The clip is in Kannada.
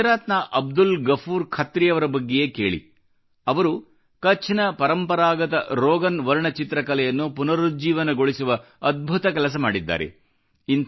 ಗುಜರಾತ್ನ ಅಬ್ದುಲ್ ಗಫೂರ್ ಖತ್ರಿಯವರ ಬಗ್ಗೆಯೇ ಕೇಳಿ ಅವರು ಕಛ್ನ ಪರಂಪರಾಗತ ರೋಗನ್ ವರ್ಣಚಿತ್ರಕಲೆಯನ್ನು ಪುನರುಜ್ಜೀವನಗೊಳಿಸುವ ಅದ್ಭುತ ಕೆಲಸ ಮಾಡಿದ್ದಾರೆ